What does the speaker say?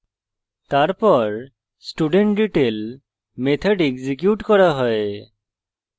তারপর studentdetail method execute করা হয়